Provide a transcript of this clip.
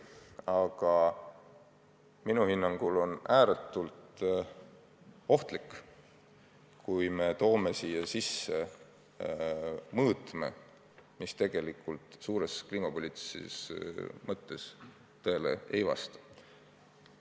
Aga minu hinnangul on ääretult ohtlik, kui me toome siia sisse mõõtme, mis tegelikult laiemas kliimapoliitilises kontekstis tõele ei vasta.